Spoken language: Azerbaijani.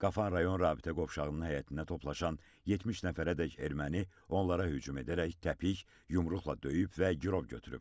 Qafan rayon rabitə qovşağının həyətində toplaşan 70 nəfərədək erməni onlara hücum edərək təpik, yumruqla döyüb və girov götürüb.